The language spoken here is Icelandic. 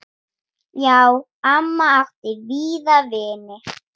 Já, amma átti víða vini.